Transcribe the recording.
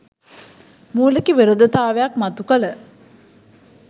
මුලික විරෝධතාවක් මතු කළ